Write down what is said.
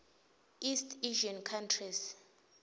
east asian countries